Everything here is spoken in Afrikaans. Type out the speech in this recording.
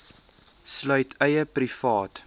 sluit eie privaat